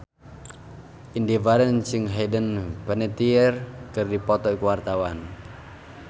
Indy Barens jeung Hayden Panettiere keur dipoto ku wartawan